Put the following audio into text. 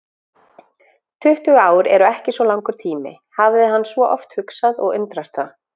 Tuttugu ár eru ekki svo langur tími, hafði hann svo oft hugsað og undrast það.